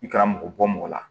I kɛra mɔgɔ bɔ mɔgɔ la